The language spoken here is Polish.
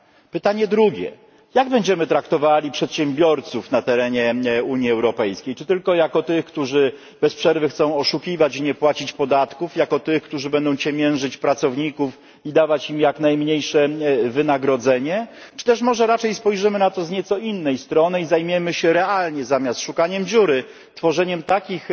Pytanie drugie jak będziemy traktowali przedsiębiorców na terenie Unii Europejskiej, czy tylko jako tych, którzy bez przerwy chcą oszukiwać i nie płacić podatków, jako tych, którzy będą ciemiężyć pracowników i dawać im jak najmniejsze wynagrodzenie, czy też może raczej spojrzymy na to z nieco innej strony i zajmiemy się realnie, zamiast szukaniem dziury tworzeniem takich